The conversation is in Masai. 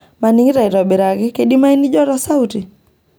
maningito aitobiraki keidimayu nijo to sauti